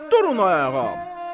Durun ayağa!